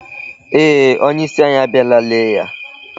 eeh, onyeisi anyị abịala lee ya.